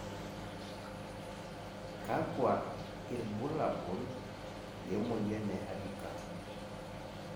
kakua irbulabol le moyian e Hardikar?